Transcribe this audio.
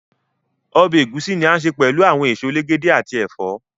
Ọbẹ ẹgusi ni a ǹ se pẹlu awọn èsó èlègédé ati ẹfọ.